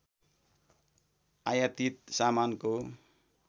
आयातित सामानको